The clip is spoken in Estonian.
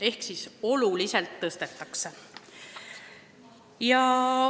Ehk seda summat oluliselt suurendatakse.